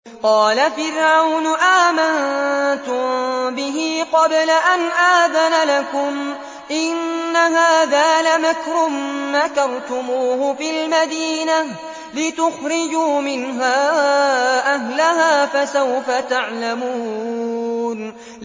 قَالَ فِرْعَوْنُ آمَنتُم بِهِ قَبْلَ أَنْ آذَنَ لَكُمْ ۖ إِنَّ هَٰذَا لَمَكْرٌ مَّكَرْتُمُوهُ فِي الْمَدِينَةِ لِتُخْرِجُوا مِنْهَا أَهْلَهَا ۖ فَسَوْفَ تَعْلَمُونَ